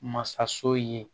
Masaso ye